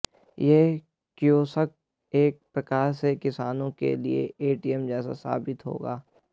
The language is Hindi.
यह कियोस्क एक प्रकार से किसानों के लिए एटीएम जैसा साबित होगा